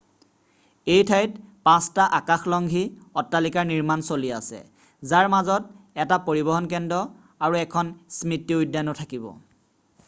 এই ঠাইত পাঁচটা আকাশলংঘী অট্টালিকাৰ নিৰ্মাণ চলি আছে যাৰ মাজত এটা পৰিবহণ কেন্দ্ৰ আৰু এখন স্মৃতি উদ্যানো থাকিব